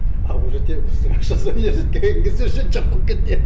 а уже темпостың ақшасы университетке келген кезде уже жоқ болып кетеді